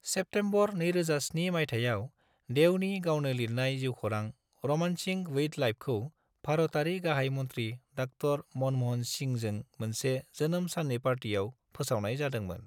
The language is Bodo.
सेप्टेम्बर 2007 मायथाइयाव, देवनि गावनो लिरनाय जिउखौरां 'रोमांसिंग विद लाइफ'खौ भारतारि गाहाय मन्त्रि डा: मनमोहन सिंहजों मोनसे जोनोम साननि पार्टीआव फोसावनाय जादोंमोन।